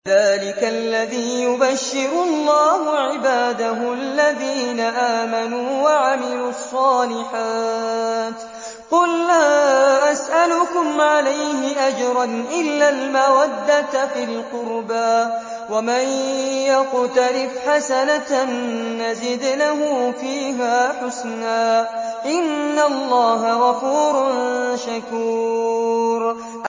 ذَٰلِكَ الَّذِي يُبَشِّرُ اللَّهُ عِبَادَهُ الَّذِينَ آمَنُوا وَعَمِلُوا الصَّالِحَاتِ ۗ قُل لَّا أَسْأَلُكُمْ عَلَيْهِ أَجْرًا إِلَّا الْمَوَدَّةَ فِي الْقُرْبَىٰ ۗ وَمَن يَقْتَرِفْ حَسَنَةً نَّزِدْ لَهُ فِيهَا حُسْنًا ۚ إِنَّ اللَّهَ غَفُورٌ شَكُورٌ